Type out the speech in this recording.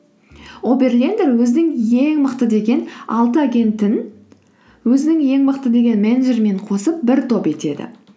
оберлендер өзінің ең мықты деген алты агентін өзінің ең мықты деген менеджерімен қосып бір топ етеді